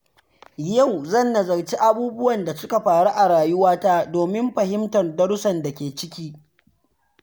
Yau zan nazarci abubuwan da suka faru a rayuwata domin fahimtar darussan da ke ciki.